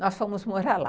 Nós fomos morar lá.